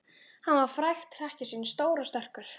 Hann var frægt hrekkjusvín, stór og sterkur.